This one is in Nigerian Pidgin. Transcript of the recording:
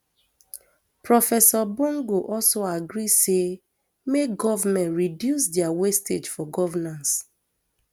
professor bongo also agree say make goment reduce dia wastage for governance